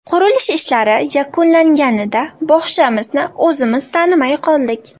Qurilish ishlari yakunlanganida bog‘chamizni o‘zimiz tanimay qoldik.